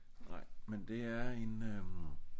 Nej men det er en øh